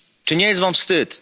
Czy nie jest wam wstyd?